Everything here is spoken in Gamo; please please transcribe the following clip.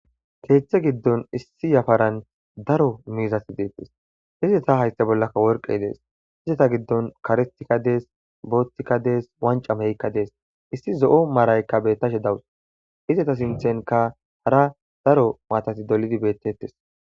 Keethe giddon issi yafaran daro miizati deettes hizeta haysta bollaka worqey dees hizeta giddon karistika dees boothtikka dees wanca meykka dees issi zo7o maaraykka bettashe dawus izeta sinthenka hara daro maatati dolidi bettes.